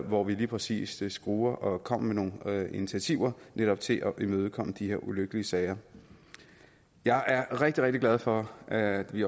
hvor vi lige præcis skruede og kom med nogle initiativer netop til at imødekomme de her ulykkelige sager jeg er rigtig rigtig glad for at vi